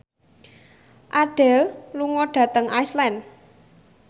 Adele lunga dhateng Iceland